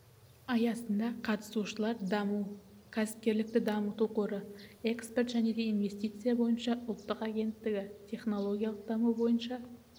аясында қатысушылар даму кәсіпкерлікті дамыту қоры экспорт және инвестиция бойынша ұлттық агенттігі технологиялық даму бойынша